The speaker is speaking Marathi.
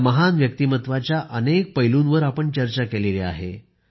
त्या महान व्यक्तिमत्वाच्या अनेक पैलूंवर आपण चर्चा केलेली आहे